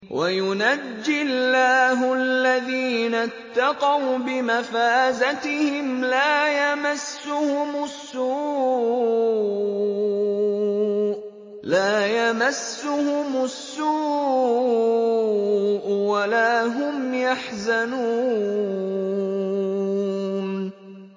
وَيُنَجِّي اللَّهُ الَّذِينَ اتَّقَوْا بِمَفَازَتِهِمْ لَا يَمَسُّهُمُ السُّوءُ وَلَا هُمْ يَحْزَنُونَ